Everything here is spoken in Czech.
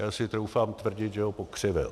Já si troufám tvrdit, že ho pokřivil.